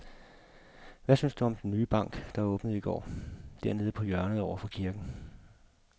Hvad synes du om den nye bank, der åbnede i går dernede på hjørnet over for kirken?